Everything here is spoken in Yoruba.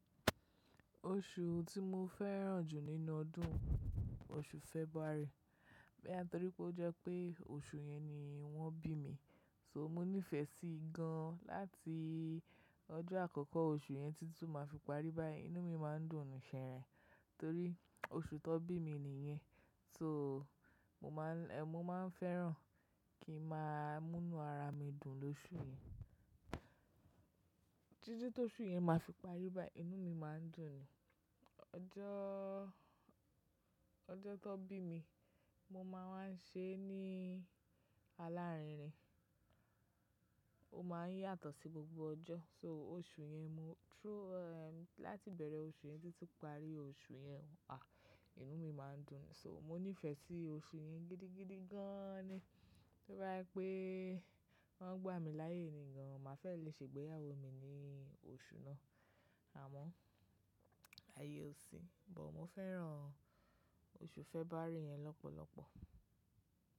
Oṣù tí mo fẹ́ràn jù nínú ọdún, oṣù February. Boya torí pé ó jẹ́ pé oṣù yẹn ni wọ́n bí mi, so mo nífẹ̀ẹ́ sí i gan. Láti ọjọ́ àkọ́kọ́ oṣù yẹn títí tó máa fi parí báyìí, inú mi má n dùn ṣẹ̀rẹ́ torí oṣù tan bí mi nìyẹn. So mo má n ẹ mọ́ má n fẹ́ràn kí n máa múnú ara mi dùn lóṣù yẹn. Títí t'óṣù yẹn má fi parí báyìí, inú mi má n dùn ni. Ọjọ́, ọjọ́ tan bí mi, mo má wan n ṣe é ní alárinrin. Ó má n yàtọ̀ sí gbogbo ọjọ́. So oṣù yẹn mú through ẹm láti ibẹ̀rẹ̀ oṣù yẹn títí parí oṣù yẹn, áh, inú mi má n dùn ni. So mo nífẹ̀ẹ́ sí oṣù yẹn gidigidi gan ni. Toba je wipé wọ́n gbá mi láyé nì gan, màá fẹ́ lè ṣègbéyàwó mi ní oṣù náà. Àmọ́ ààyè ò sí. But mo fẹ́ràn oṣù February yẹn lọ́pọ̀lọpọ̀.